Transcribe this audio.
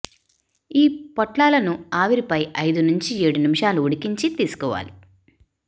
ఈ పొట్లాలను ఆవిరిపై ఐదు నుంచి ఏడు నిమిషాలు ఉడికించి తీసుకోవాలి